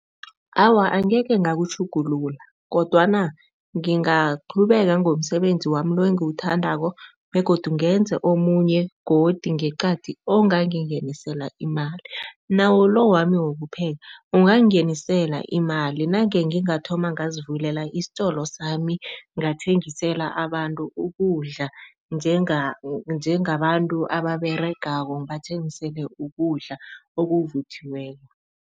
Awa, angeke ngakutjhugulula kodwana ngingaqhubeka ngomsebenzi wami lo engiwuthandako begodu ngenze omunye godi ngeqadi ongangingenisela imali. Nawo lo wami wokupheka, ungangingenisela imali nange ngingathoma ngazivulela isitolo sami, ngathengisela abantu ukudla njengabantu ababeregako ngibathengisele ukudla okuvuthiweko.